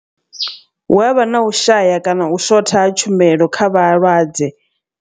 Hu avha na u shaya kana u shotha ha tshumelo kha vhalwadze.